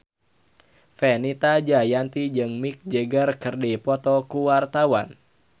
Fenita Jayanti jeung Mick Jagger keur dipoto ku wartawan